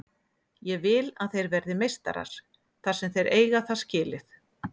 Ég vill að þeir verði meistarar þar sem þeir eiga það skilið.